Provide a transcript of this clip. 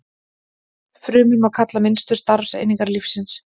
Frumur má kalla minnstu starfseiningar lífsins.